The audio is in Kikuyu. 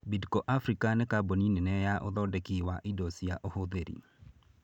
Bidco Africa nĩ kambuni nene ya ũthondeki wa indo cia ũhũthĩri.